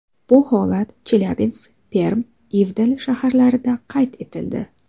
Bu holat Chelyabinsk, Perm va Ivdel shaharlarida qayd etildi.